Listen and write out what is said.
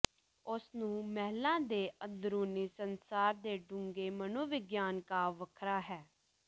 ਉਸ ਨੂੰ ਮਹਿਲਾ ਦੇ ਅੰਦਰੂਨੀ ਸੰਸਾਰ ਦੇ ਡੂੰਘੇ ਮਨੋਵਿਗਿਆਨ ਕਾਵਿ ਵੱਖਰਾ ਹੈ